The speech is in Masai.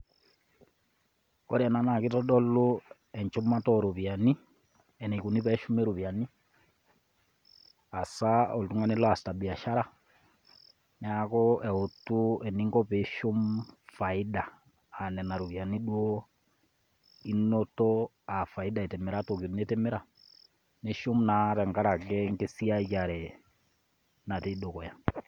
Ore ena naake itodolu enchumata o ropiani enikuni teneshumi ropiani hasa toltung'ani loasita biashara. Neeku eutu eninko piishum faida a nena ropiani duo inoto a faida itimira toki nitimira nishum naa tenkaraki enkisiayare natii dukuya.